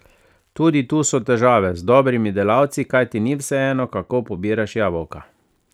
Tudi tu so težave z dobrimi delavci, kajti ni vseeno, kako pobiraš jabolka.